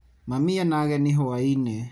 Mami ena ageni hwainĩ.